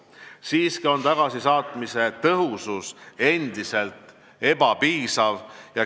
Siiski on tagasisaatmise tõhusus endiselt ebapiisav.